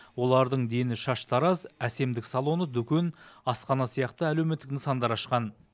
олардың дені шаштараз әсемдік салоны дүкен асхана сияқты әлеуметтік нысандар ашқан